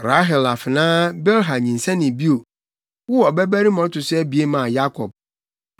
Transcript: Rahel afenaa Bilha nyinsɛnee bio, woo ɔbabarima a ɔto so abien maa Yakob.